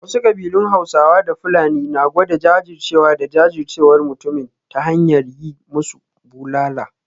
Wasu kabilun Hausawa da Fulani na gwada jajircewa da jajircewar mutumin ta hanyar yi musu bulala